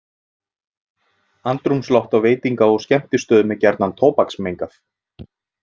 Andrúmsloft á veitinga- og skemmtistöðum er gjarnan tóbaksmengað.